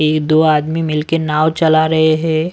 एक दो आदमी मिलकर नाव चला रहे हैं।